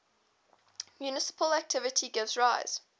multiplicativity gives rise